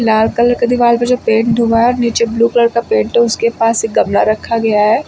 लाल colour का दीवाल पे जो पेंट हुआ है। नीचे ब्लू कलर का पेंट उसके पास एक गमला रखा गया है।